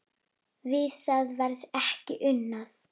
Við það verði ekki unað.